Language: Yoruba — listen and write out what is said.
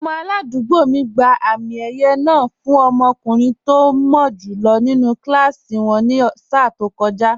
Ọmọ aládùúgbò mi gba àmì ẹ̀yẹ náà fún ọmọkùnrin tó mọ́ jù lọ nínú kíláàsì wọn ní sáà tó kọjá